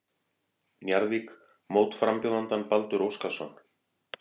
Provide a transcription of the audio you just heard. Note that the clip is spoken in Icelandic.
Njarðvík mótframbjóðandann Baldur Óskarsson.